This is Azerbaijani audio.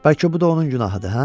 Bəlkə bu da onun günahıdır, hə?